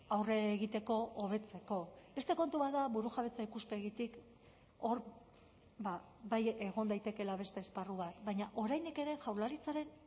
aurre egiteko hobetzeko beste kontu bat da burujabetza ikuspegitik hor bai egon daitekeela beste esparru bat baina oraindik ere jaurlaritzaren